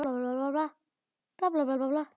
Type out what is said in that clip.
Enginn talaði eins og hún.